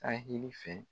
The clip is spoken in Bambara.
Ahili fɛ